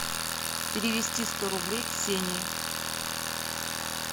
перевести сто рублей ксении